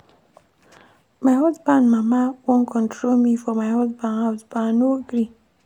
My husband mama wan control me for my husband house but I no gree.